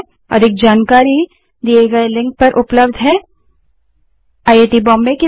अधिक जानकारी दिए गए लिंक पर उपलब्ध है httpspoken tutorialorgNMEICT Intro यह स्क्रिप्ट देवेन्द्र कैरवान द्वारा अनुवादित है